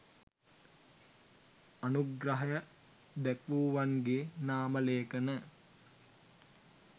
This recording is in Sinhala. අනුග්‍රහය දැක්වූවන්ගේ නාමලේඛන